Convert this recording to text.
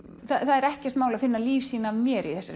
það er ekkert mál að finna lífsýni af mér í þessari